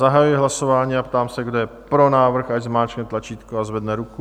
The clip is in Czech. Zahajuji hlasování a ptám se, kdo je pro návrh, ať zmáčkne tlačítko a zvedne ruku.